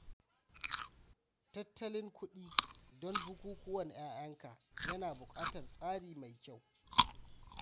Tattalin kuɗi don bukukuwan ƴaƴanka ya na buƙatar tsari mai kyau.